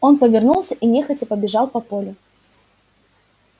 он повернулся и нехотя побежал по полю